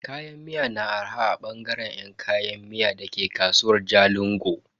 Kayan miya na arha a bangare yan kayan miya dake kasuwar Jalingo.